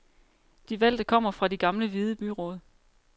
De valgte kommer fra de gamle hvide byråd.